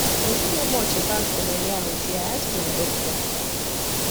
i no know much about gonorrhea until i ask my doctor